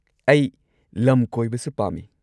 ꯑꯩ ꯂꯝ ꯀꯣꯏꯕꯁꯨ ꯄꯥꯝꯃꯤ꯫